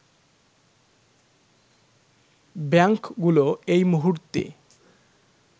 ব্যাংকগুলো এই মুহূর্তে